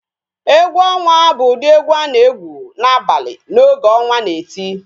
Egwu onwa bụ ụdị egwu a na-egwu n'abalị n'oge ọnwa na-eti